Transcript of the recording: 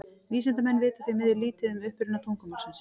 Vísindamenn vita því miður lítið um uppruna tungumálsins.